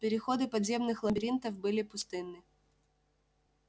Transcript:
переходы подземных лабиринтов были пустынны